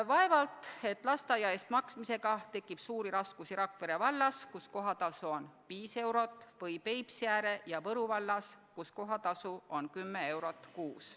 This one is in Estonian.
Vaevalt et lasteaia eest maksmisega tekib suuri raskusi Rakvere vallas, kus kohatasu on 5 eurot, või Peipsiääre ja Võru vallas, kus kohatasu on 10 eurot kuus.